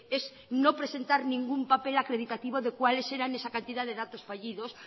es no presentar ningún papel acreditativo de cuáles eran esa cantidad de datos fallidos